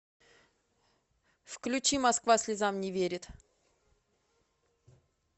включи москва слезам не верит